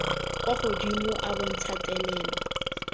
kwa godimo a bontsha thelelo